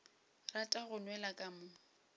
rata go nwela ka mo